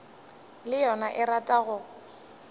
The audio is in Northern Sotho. le yona e rata go